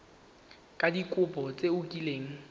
ka dikopo tse o kileng